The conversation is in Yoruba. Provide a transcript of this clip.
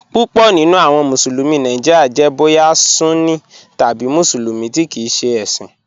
Púpọ̀ nínu awọn Musulumi Nàìjíríà jẹ̀ bóyà Sunní tabi Musulumi tí kìí ṣẹ ẹ̀ṣin.